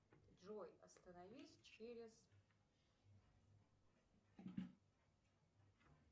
джой остановись через